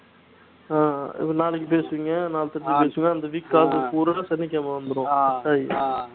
ஆஹ் இப்ப நாளைக்கு பேசுவீங்க நாளைக்கு கழிச்சு பேசுவீங்க இந்த week காசு பூரா சனிக்கிழமை வந்துரும்